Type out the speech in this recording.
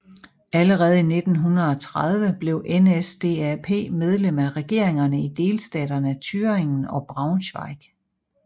Allerede i 1930 blev NSDAP medlem af regeringerne i delstaterne Thüringen og Braunschweig